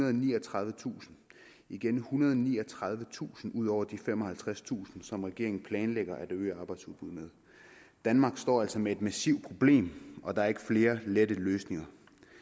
og niogtredivetusind igen ethundrede og niogtredivetusind ud over de femoghalvtredstusind som regeringen planlægger at øge arbejdsudbuddet med danmark står altså med et massivt problem og der er ikke flere lette løsninger